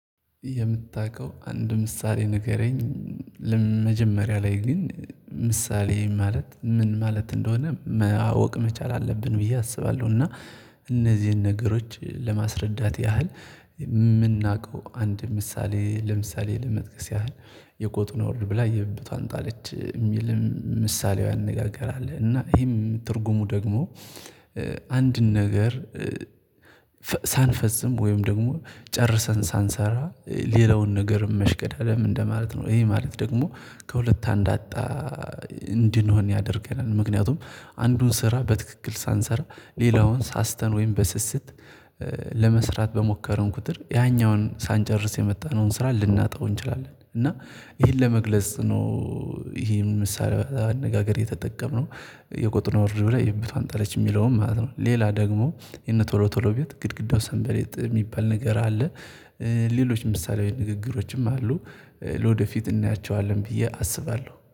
የምታቀው አንድ ምሳሌ ንገረኝ። መጀመሪያ ላይ ግን ምሳሌ ማለት ምን ማለት እንደሆነ ማወቅ መቻል አለብን ብዬ አስባለሁ እና እነዚህን ነገሮች ለማስረዳት ያህል። ምናውቀው አንድ ምሳሌ ለምሳሌ ለመጥቀስ ያህል የቆጡን አወርድ ብላ የብብትዋን ጣለች የሚል ምሳሌያዊ አነጋገር አለ። እና ይህም ትርጉሙ ደግሞ አንድን ነገር ሳንፈጽም ወይም ደግሞ ጨርሰን ሳንሰራ ሌላውን ነገርም መሽቀዳደም እንደማለት ነው ይህ ማለት ደግሞ ከሁለት አንዳጣ እንድንሆን ያደርገናል። ምክንያቱም አንዱን ስራ በትክክል ሳንሰራ ሌላውን ሳስተን ወይም በስስት ለመስራት በሞከረን ቁጥር ያኛውን ሳንጨርስ የመጣንውን ስራ ልናጠው እንችላለን። እና ይህን ለመግለጽ ነው። ይህ ምሳሌያዊ አነጋገር የተጠቀመው የቆጡን አወርድ ብላ የብብትዋን ጣለች የሚለውን ማለት ነው። ሌላ ደግሞ የነ ቶሎቶሎ ቤት ግድግዳው ሰንበሌጥ የሚባል ነገር አለ። ሌሎች ምሳሌያዊ ንግግሮችም አሉ ለወደፊት እናያቸዋለን ብዬ አስባለሁ